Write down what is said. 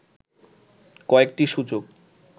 কয়েকটি সুযোগ